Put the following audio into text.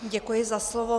Děkuji za slovo.